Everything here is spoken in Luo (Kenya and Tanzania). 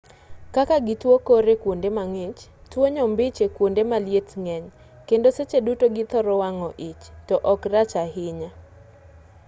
kaka gi tuo kor e kuonde mang'ich tuo nyombich ekuonde maliet ng'eny kendo seche duto githoro wang'o ich to-ok rach ahinya